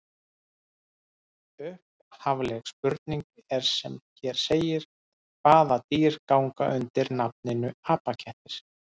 Upphafleg spurning er sem hér segir: Hvaða dýr ganga undir nafninu apakettir?